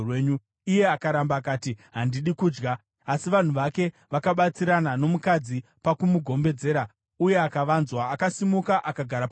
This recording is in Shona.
Iye akaramba akati, “Handidi kudya.” Asi vanhu vake vakabatsirana nomukadzi pakumugombedzera, uye akavanzwa. Akasimuka akagara panhoo.